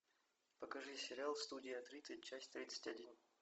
покажи сериал студия тридцать часть тридцать один